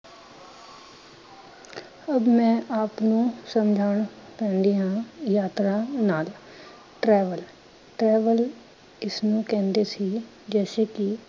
ਅਬ ਮੈਂ ਆਪ ਨੂੰ ਸਮਝਾਣਾ ਚਾਹੁੰਦੀ ਹਾਂ ਯਾਤਰਾ ਨਾਲ travel. Travel ਇਸ ਨੂੰ ਕਹਿੰਦੇ ਸੀ ਜੈਸੇ ਕੀ